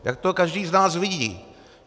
Jak to každý z nás vidí.